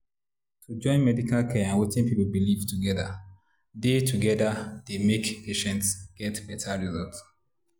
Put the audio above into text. to join medical care and wetin people believe together dey together dey make patients get better results.